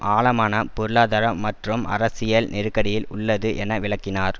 ஆழமான பொருளாதார மற்றும் அரசியல் நெருக்கடியில் உள்ளது என விளக்கினார்